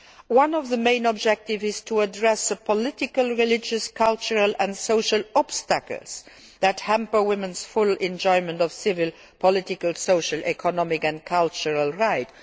level. One of the main objectives is to address the political, religious, cultural and social obstacles that hamper women's full enjoyment of their civil, political, social, economic and cultural